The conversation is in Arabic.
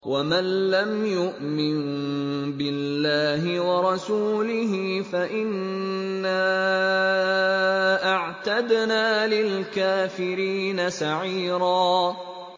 وَمَن لَّمْ يُؤْمِن بِاللَّهِ وَرَسُولِهِ فَإِنَّا أَعْتَدْنَا لِلْكَافِرِينَ سَعِيرًا